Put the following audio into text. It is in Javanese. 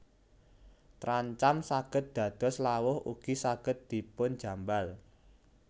Trancam saged dados lawuh ugi saged dipun jambal